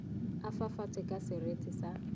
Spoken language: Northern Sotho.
a phaphathwe ka serethe sa